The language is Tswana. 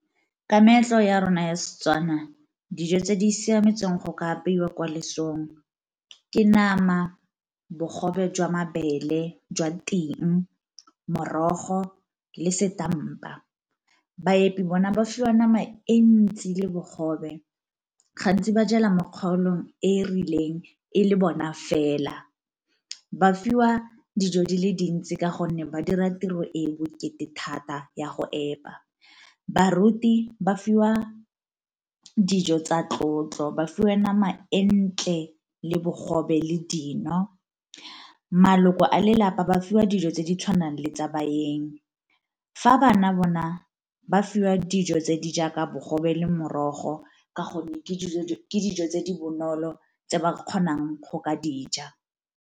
Ke meetlo ya rona ya Setswana dijo tse di siametseng go ka apeiwa kwa lesong ke nama, bogobe jwa mabele jwa ting, morogo le setampa. Baepi bona ba fiwa nama e ntsi le bogobe gantsi ba jela mokgaolong e e rileng e le bona fela, ba fiwa dijo di le dintsi ka gonne ba dira tiro e e bokete thata ya go epa. Baruti ba fiwa dijo tsa tlotlo ba fiwa nama e ntle, le bogobe, le dino. Maloko a lelapa ba fiwa dijo tse di tshwanang le tsa baeng, fa bana bona ba fiwa dijo tse di jaaka bogobe le morogo ka gonne ke dijo tse di bonolo tse ba kgonang go ka di ja.